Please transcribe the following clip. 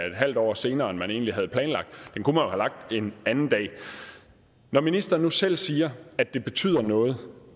et halvt år senere end man egentlig havde planlagt en anden dag når ministeren nu selv siger at det betyder noget